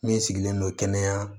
Min sigilen don kɛnɛya